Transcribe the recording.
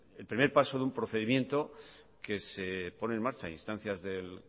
el primer paso de un procedimiento que se pone en marcha a instancias del